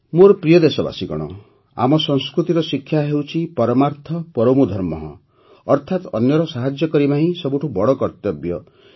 ମୋର ପ୍ରିୟ ଦେଶବାସୀଗଣ ଆମ ସଂସ୍କୃତିର ଶିକ୍ଷା ହେଉଛି ପରମାର୍ଥ ପରମୋ ଧର୍ମଃ ଅର୍ଥାତ ଅନ୍ୟର ସାହାଯ୍ୟ କରିବା ହିଁ ସବୁଠୁ ବଡ଼ କର୍ତ୍ତବ୍ୟ